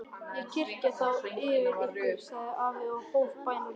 Ég kyrja þá yfir ykkur, sagði afi og hóf bænalesturinn.